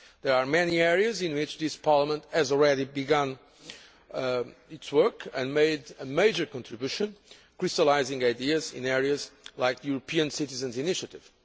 There are many areas in which this Parliament has already begun its work and has made a major contribution, crystallising ideas in areas like the European citizens' initiative.